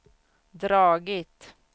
dragit